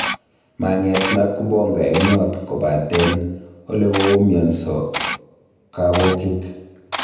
Mang'et Nakubonga eng yot kotaben ole koumionso kabokiik